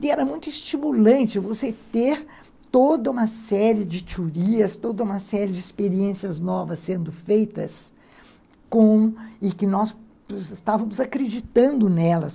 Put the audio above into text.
E era muito estimulante você ter toda uma série de teorias, toda uma série de experiências novas sendo feitas e que nós estávamos acreditando nelas.